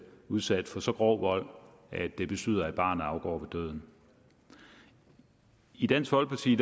udsat for så grov vold at det betyder at barnet afgår ved døden i dansk folkeparti